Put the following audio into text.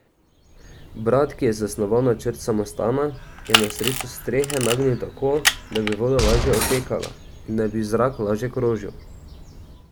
Brat, ki je zasnoval načrt samostana, je na srečo strehe nagnil tako, da bi voda lažje odtekala in da bi zrak lažje krožil.